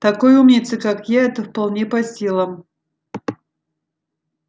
такой умнице как я это вполне по силам